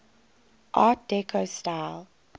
art deco style